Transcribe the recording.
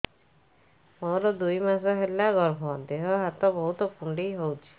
ମୋର ଦୁଇ ମାସ ହେଲା ଗର୍ଭ ଦେହ ହାତ ବହୁତ କୁଣ୍ଡାଇ ହଉଚି